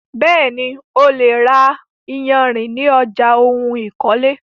Bẹ́ẹ̀ni, o lè ra iyarìn ní ọjà oun ìkọ́lé.